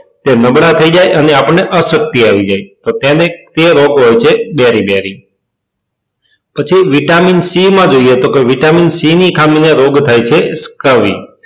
તે નબળા થઇ જાય અને આપણને અશક્તિ આવી જાય તો તેને તે રોગ હોય છે બેરી બેરી પછી vitamin c જોઈએ તો કે vitamin c ની ખામી ને રોગ થાય છે